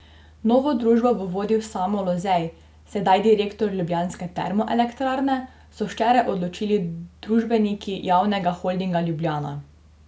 Novo družbo bo vodil Samo Lozej, sedaj direktor ljubljanske termoelektrarne, so včeraj odločili družbeniki Javnega holdinga Ljubljana.